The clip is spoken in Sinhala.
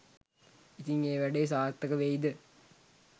ඉතිං ඒ වැඩේ සාර්ථක වෙයිද